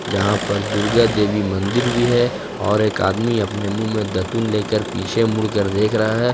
जहां पर दुर्गा देवी मंदिर भी है और एक आदमी अपने मुंह में दतुईन लेकर पीछे मुड़कर देख रहा है।